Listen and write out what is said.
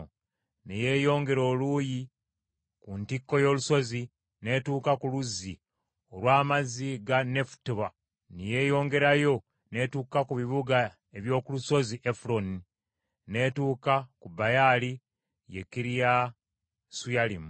ne yeeyongera okuva ku ntikko y’olusozi n’etuuka ku luzzi olw’amazzi ga Nefutoa, ne yeeyongerayo n’etuuka ku bibuga eby’oku lusozi Efuloni, n’etuuka ku Baala, ye Kiriyasuyalimu,